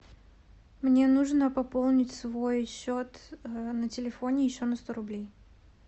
мне нужно пополнить свой счет на телефоне еще на сто рублей